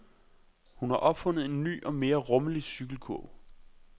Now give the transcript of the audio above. Hun har opfundet en ny og mere rummelig cykelkurv.